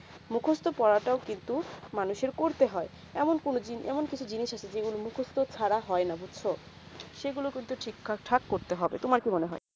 মুখত পড়া তাও কিন্তু মানুষের করতে হয়ে এমন কোনো এমন কিছু জিনিস আছে যে গুলু মুখস্ত ছাড়া হয়ে না বুঝছো সেই গুলু কিন্তু ঠিক এ ঠাক করতে হবে তোমার কি মনে হবে